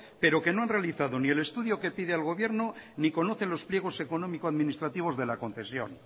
pero que no han realizado ni el estudio que pide al gobierno ni conocen los pliegos económico administrativos de la concesión